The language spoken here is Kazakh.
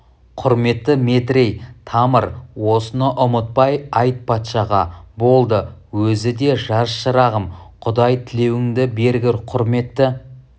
құрметті метрей тамыр осыны ұмытпай айт патшаға болды өзі де жаз шырағым құдай тілеуіңді бергір құрметті